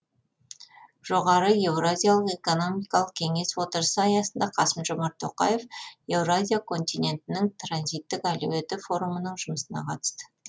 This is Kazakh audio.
жоғары еуразиялық экономикалық кеңес отырысы аясында қасым жомарт тоқаев еуразия континентінің транзиттік әлеуеті форумының жұмысына қатысты